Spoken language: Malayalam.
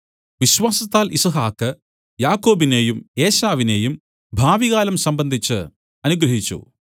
വിശ്വാസത്താൽ യിസ്ഹാക്ക് യാക്കോബിനെയും ഏശാവിനെയും ഭാവികാലം സംബന്ധിച്ച് അനുഗ്രഹിച്ചു